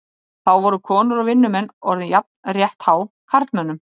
Þá voru konur og vinnumenn orðin jafnrétthá karlmönnum.